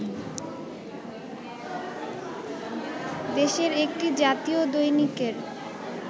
দেশের একটি জাতীয় দৈনিকের